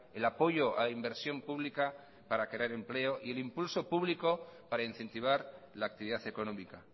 el apoyo a inversión pública para crear empleo y el impulso público para incentivar la actividad económica